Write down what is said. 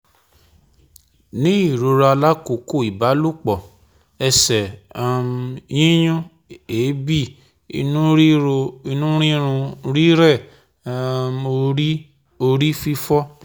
Ni irora lakoko ibalopọ, ẹsẹ um yiyún, eebi, inu riro, inu rirun, rirẹ, um ori ori fifo